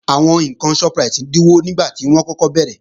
Àwọn ǹkan Shoprite dínwó nígbàtí wọ́n kọ́kọ́ bẹ̀rẹ̀